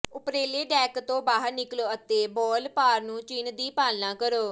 ਉਪਰਲੇ ਡੈਕ ਤੋਂ ਬਾਹਰ ਨਿਕਲੋ ਅਤੇ ਬਾਲਪਾਰ ਨੂੰ ਚਿੰਨ੍ਹ ਦੀ ਪਾਲਣਾ ਕਰੋ